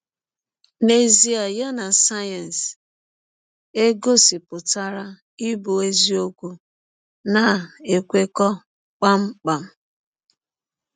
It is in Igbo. N’ezie, ya na sayensị e gọsipụtara ịbụ eziọkwu na - ekwekọ kpam kpam.